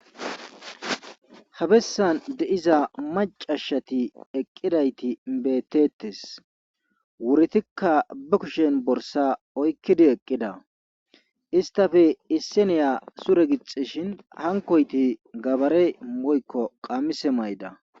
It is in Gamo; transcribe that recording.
Habessan deiza macashshati eqqidayti beettettes wuritikka ba kushen borsa oykkidi eqqida istafe isseniya sure gixishin hankoyti gabare moykko qaamise mayda